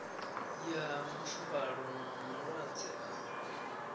ya mafuvhalo na malwadze a